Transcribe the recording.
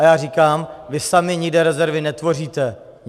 A já říkám, vy sami nikde rezervy netvoříte.